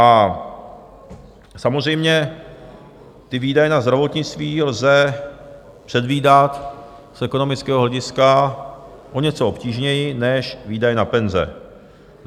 A samozřejmě ty výdaje na zdravotnictví lze předvídat z ekonomického hlediska o něco obtížněji než výdaje na penze.